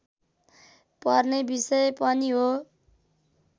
पर्ने विषय पनि हो